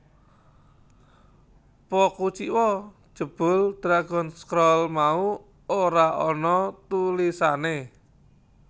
Po kuciwa jebul Dragon Scroll mau ora ana tulisané